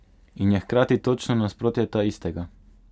In je hkrati točno nasprotje taistega.